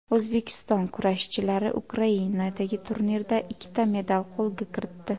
O‘zbekiston kurashchilari Ukrainadagi turnirda ikkita medal qo‘lga kiritdi.